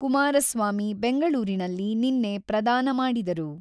ಕುಮಾರಸ್ವಾಮಿ ಬೆಂಗಳೂರಿನಲ್ಲಿ ನಿನ್ನೆ ಪ್ರದಾನ ಮಾಡಿದರು.